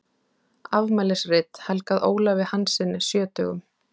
Afmælisrit helgað Ólafi Hanssyni sjötugum.